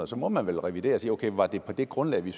så må man vel revidere sige var det på det grundlag vi